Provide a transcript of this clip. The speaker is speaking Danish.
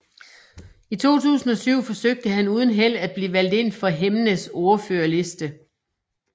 I 2007 forsøgte han uden held at blive valgt ind for Hemnes ordførerliste